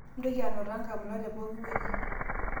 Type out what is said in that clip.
mintoki anotaa nkamulak tee pookin wei